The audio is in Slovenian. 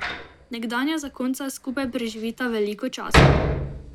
Nekdanja zakonca skupaj preživita veliko časa.